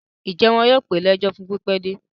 Ǹjẹ́ wọn yóò pè é lẹ́jọ́ fún pípẹ́ dé?